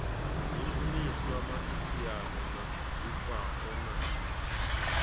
zwishumiswa miaisano na zwifhao na